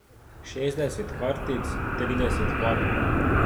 Šestdeset kartic, trideset parov.